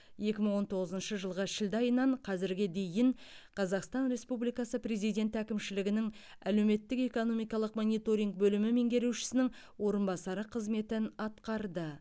екі мың он тоғызыншы жылғы шілде айынан қазірге дейін қазақстан республикасы президенті әкімшілігінің әлеуметтік экономикалық мониторинг бөлімі меңгерушісінің орынбасары қызметін атқарды